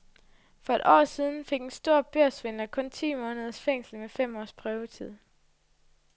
For et år siden fik en stor børssvindler kun ti måneders fængsel med fem års prøvetid.